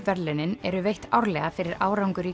verðlaunin eru veitt árlega fyrir árangur í